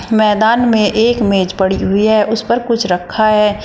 मैदान में एक मेज पड़ी हुई है उसे पर कुछ रखा है।